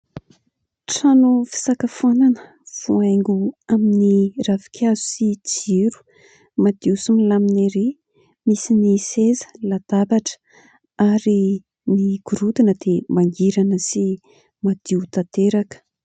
Trano fisakafoanana voahaingo amin'ny ravinkazo sy jiro, madio sy milamina erỳ. Misy ny seza, latabatra ary ny gorodona dia mangirana sy madio tanteraka.